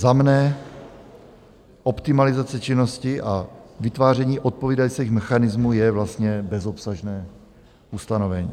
Za mne optimalizace činnosti a vytváření odpovídajících mechanismů je vlastně bezobsažné ustanovení.